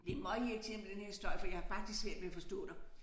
Det møgirriterende med den her støj for jeg har faktisk svært ved at forstå dig